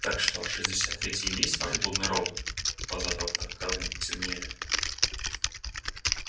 так что шестьдесят третий и есть ваш блудный робот глаза доктора кэлвина потемнели